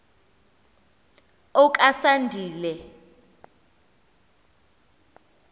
okasandile